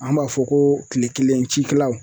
An b'a fɔ ko kile kelen cikɛlaw